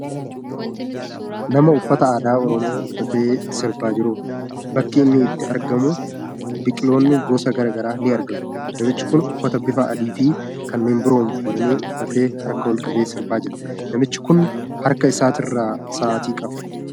Nama uffata aadaa Oromoo uffatee sirbaa jiruudha. Bakki inni itti argamu biqiloonni gosa garaagaraa ni argamu. Namichi kun uffata bifa adiifi kanneen biroon faayame uffatee harka olqabee sirbaa jira. Namichi kun harkasaatirraa sa'aatii qaba.